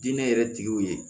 Diinɛ yɛrɛ tigiw ye